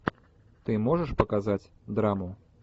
ты можешь показать драму